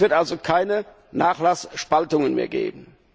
Es wird also keine Nachlassspaltungen mehr geben.